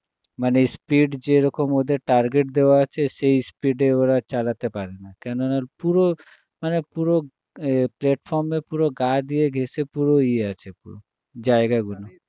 মানে speed যেরকম ওদের target দেওয়া আছে সেই speed এ ওরা চালাতে পারে না কেননা পুরো মানে পুরো এর platform এর পুরো গা দিয়ে ঘেঁষে পুরো ইয়ে আছে জায়গা গুলো